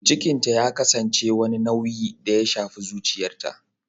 Cikinta ya kasance wani nauyi da ya shafi zuciyarta